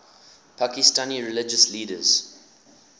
pakistani religious leaders